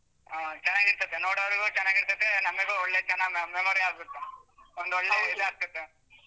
ಹಾ, ಚೆನ್ನಾಗಿರ್ತೈತೆ ನೋಡವ್ರ್ಗು ಚೆನ್ನಾಗಿರ್ತೈತೆ ನಮೀಗೂ ಒಳ್ಳೇ ಚೆನ್ನಾಗ್ me~ memory ಆಗುತ್ತೆ, ಒಂದೊಳ್ಳೆ ಆಗ್ತೈತೆ.